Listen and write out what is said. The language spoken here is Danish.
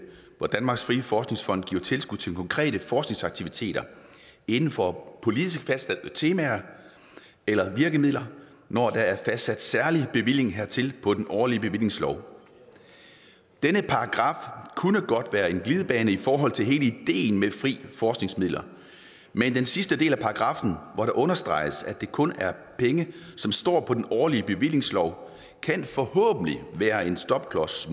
at danmarks frie forskningsfond giver tilskud til konkrete forskningsaktiviteter inden for politisk fastsatte temaer eller virkemidler når der er fastsat særlig bevilling hertil på den årlige bevillingslov denne paragraf kunne godt være en glidebane i forhold til hele ideen med frie forskningsmidler men den sidste del af paragraffen hvor det understreges at det kun er penge som står på den årlige bevillingslov kan forhåbentlig være en stopklods